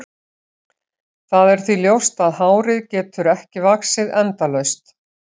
Það er því ljóst að hárið getur ekki vaxið endalaust.